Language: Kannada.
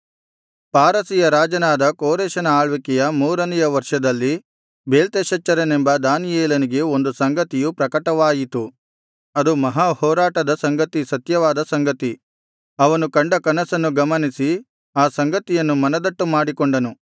ಪಾರಸಿಯ ರಾಜನಾದ ಕೋರೆಷನ ಆಳ್ವಿಕೆಯ ಮೂರನೆಯ ವರ್ಷದಲ್ಲಿ ಬೇಲ್ತೆಶಚ್ಚರನೆಂಬ ದಾನಿಯೇಲನಿಗೆ ಒಂದು ಸಂಗತಿಯು ಪ್ರಕಟವಾಯಿತು ಅದು ಮಹಾಹೊರಾಟದ ಸಂಗತಿ ಸತ್ಯವಾದ ಸಂಗತಿ ಅವನು ಕಂಡ ಕನಸನ್ನು ಗಮನಿಸಿ ಆ ಸಂಗತಿಯನ್ನು ಮನದಟ್ಟು ಮಾಡಿಕೊಂಡನು